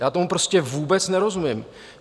Já tomu prostě vůbec nerozumím.